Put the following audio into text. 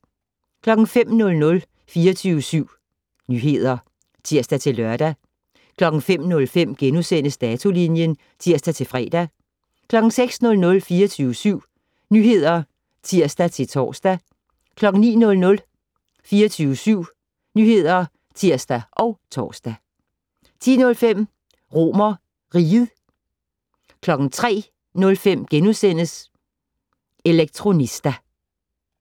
05:00: 24syv Nyheder (tir-lør) 05:05: Datolinjen *(tir-fre) 06:00: 24syv Nyheder (tir-tor) 09:00: 24syv Nyheder (tir og tor) 10:05: RomerRiget 03:05: Elektronista *